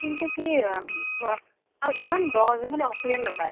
কিন্তু কি আৰু ইমান দʼ যে সেইফালে oxygen নাপায় ।